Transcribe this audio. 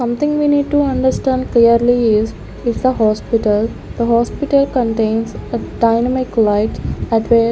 Something we need to understand clearly is if the hospital the hospital contains a dynamic light at where --